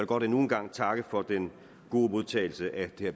godt endnu en gang takke for den gode modtagelse af det